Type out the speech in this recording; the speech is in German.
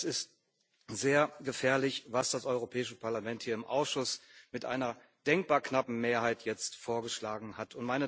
Das ist sehr gefährlich, was das Europäische Parlament hier im Ausschuss mit einer denkbar knappen Mehrheit jetzt vorgeschlagen hat.